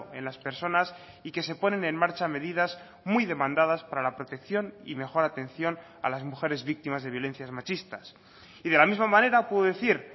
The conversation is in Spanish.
en las personas y que se ponen en marcha medidas muy demandadas para la protección y mejor atención a las mujeres víctimas de violencias machistas y de la misma manera puedo decir